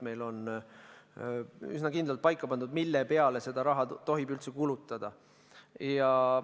Meil on üsna kindlalt paika pandud, mille peale seda raha tohib üldse kulutada.